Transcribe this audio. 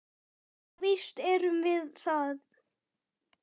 Jú, víst erum við það.